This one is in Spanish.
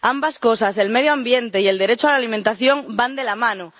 Ambas cosas, el medio ambiente y el derecho a la alimentación, van de la mano.